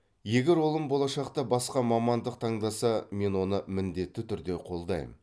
егер ұлым болашақта басқа мамандық таңдаса мен оны міндетті түрде қолдайм